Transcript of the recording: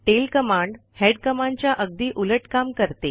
tail command head कमांडच्या अगदी उलट काम करते